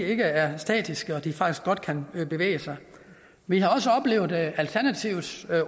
ikke er statiske og at de faktisk godt kan bevæge sig vi har også oplevet alternativets